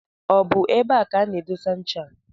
Ọ bụ ebe a ka ana-edesa ncha a?